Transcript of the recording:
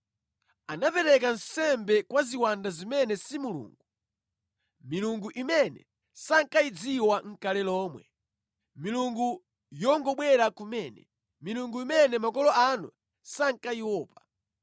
Anapereka nsembe kwa ziwanda zimene si Mulungu, milungu imene sankayidziwa nʼkale lomwe, milungu yongobwera kumene, milungu imene makolo anu sankayiopa.